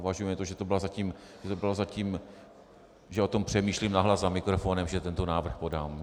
Považujme to, že to bylo zatím, že o tom přemýšlím nahlas za mikrofonem, že tento návrh podám.